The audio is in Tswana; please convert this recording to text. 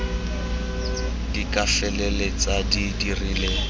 di ka feleltsang di dirile